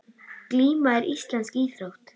Glíma er íslensk íþrótt.